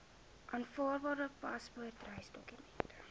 aanvaarbare paspoort reisdokument